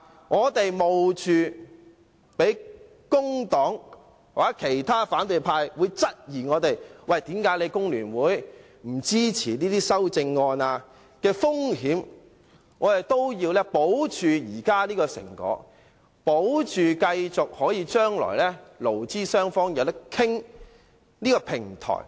我們冒被工黨或其他反對派質疑工聯會不支持這些修正案的風險，也要保持現在這個成果，保持勞資雙方將來可以繼續商討的平台。